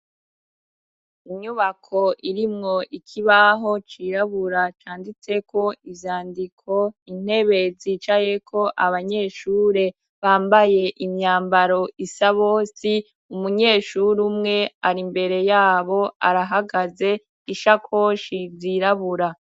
Inyubako irimwo ikibaho cirabura canditseko inzandiko intebe zicayeko abanyeshure bambaye imyambaro isa bose, umunyeshuri umwe ari mbere yabo arahagaze ishakoshi zirabura.